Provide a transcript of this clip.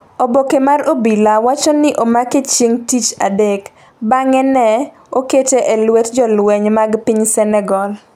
Oboke mar obila wacho ni ne omake chieng' tij adek bang’e ne okete e lwet jolweny mag piny Senegal.